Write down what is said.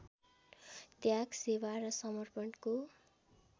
त्याग सेवा र समर्पणको